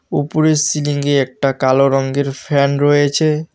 উপরের সিলিং -এ একটা কালো রঙের ফ্যান রয়েছে।